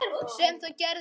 Sem það gerði ekki.